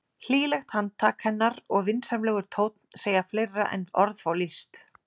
Hlýlegt handtak hennar og vinsamlegur tónn segja fleira en orð fá lýst.